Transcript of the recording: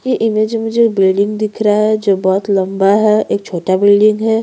ये इमेज जो बिल्डिंग दिख रहा है जो बहोत लम्बा है एक छोटा बिल्डिंग है।